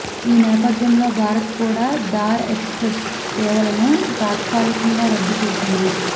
ఈ నేపథ్యంలో భారత్ కూడా థార్ ఎక్స్ప్రెస్ సేవలను తాత్కాలికంగా రద్దు చేసింది